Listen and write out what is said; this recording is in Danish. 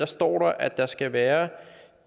står der at der skal være